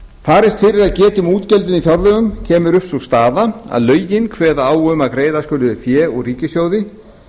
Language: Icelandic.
geta um útgjöldin í fjárlögum kemur upp sú staða að lögin kveða á um að greiða skuli fé úr ríkissjóði